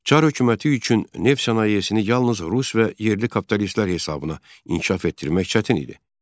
Çar hökuməti üçün neft sənayesini yalnız rus və yerli kapitalistlər hesabına inkişaf etdirmək çətin idi.